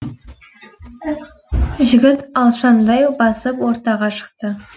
жігіт алшаңдай басып ортаға шықты